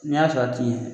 N'i y'a sɔrɔ a ti ye